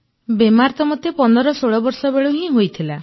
ବେମାର ତ ମୋତେ ୧୫୧୬ ବର୍ଷ ବେଳୁ ହିଁ ହୋଇଥିଲା